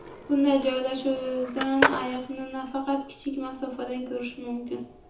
Bunday joylashuvdan ayiqni faqat kichik masofadan ko‘rish mumkin.